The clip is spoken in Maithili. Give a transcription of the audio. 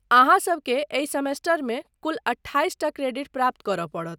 अहाँ सबके एहि सेमेस्टरमे कुल अट्ठाइसटा क्रेडिट प्राप्त करय पड़त।